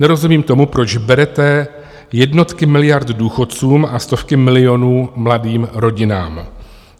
Nerozumím tomu, proč berete jednotky miliard důchodcům a stovky milionů mladým rodinám.